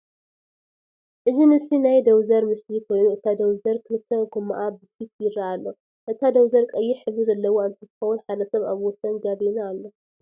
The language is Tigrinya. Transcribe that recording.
እዚ ምስሊ ናይ ደውዘር ምስሊ ኮይኑ እታ ደውዘር ክልተ ጎማኣ ብፊት የረአ አሎ፡፡ እታ ደውዘር ቀይሕ ሕብሪ ዘለዋ እንትትኮን ሓደ ሰብ አብ ወሰን ጋቤና አሎ፡፡